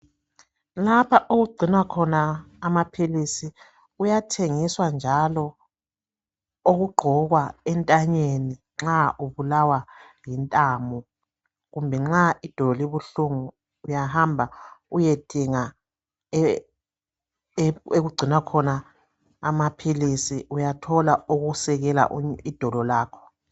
Lapha okugcinwa khona amaphilizi kuyathengiswa njalo okugqokwa entanyeni nxa ubulawa yintamo kumbe nxa idolo libuhlungu uyahamba uyedinga okugcinwa khona amaphilizi uyathola okusekela idolo lakho.